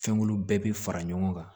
Fɛnkolo bɛɛ bi fara ɲɔgɔn kan